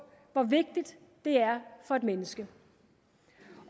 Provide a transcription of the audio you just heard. hvor vigtigt det er for et menneske